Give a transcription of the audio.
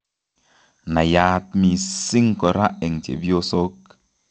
Naiyaat mising' kora eng' chepyosok